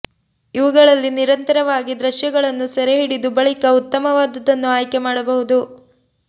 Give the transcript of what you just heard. ಇವುಗಳಲ್ಲಿ ನಿರಂತವಾಗಿ ದೃಶ್ಯಗಳ್ನು ಸೆರೆ ಹಿಡಿದು ಬಳಿಕ ಉತ್ತಮವಾದುದನ್ನು ಆಯ್ಕೆ ಮಾಡಬಹುದು